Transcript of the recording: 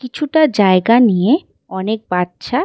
কিছুটা জায়গা নিয়ে অনেক বাচ্চা-আ--